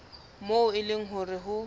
moo e leng hore ho